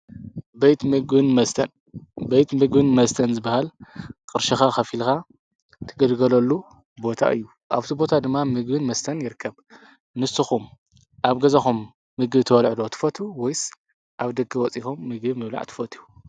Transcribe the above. መስበይት ምግን መስተን ዝበሃል ቕርሽኻ ኸፊልካ ትገድገለሉ ቦታ እዩ ኣብቲ ቦታ ድማ ምግውን መስተን የርከብ ንሱኹም ኣብ ገዛኾም ምጊ ተውልዕዶ ትፈቱ ወይስ ኣብ ደገ ወፂኾም ምጊ ምብላዕ ትፈትዩ።